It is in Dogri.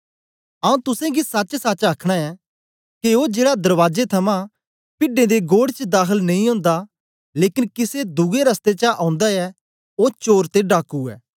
आऊँ तुसेंगी सचसच आखना ऐं के ओ जेड़ा दरबाजे थमां पिड्डें दा घोड़ च दाखल नेई ओंदा लेकन किसे दुए रसतै चा ओंदा ऐ ओ चोर ते डाकू ऐ